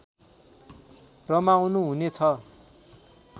रमाउनु हुने छ